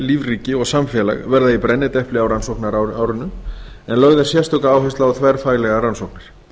lífríki og samfélag verða í brennidepli á rannsóknarárinu en lögð er sérstök áhersla á þverfaglegar rannsóknir